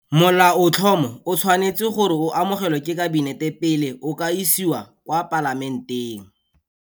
Molaotlhomo o tshwanetswe gore o amogelwe ke Kabinete pele o ka isiwa kwa Palamenteng.